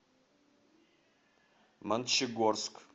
мончегорск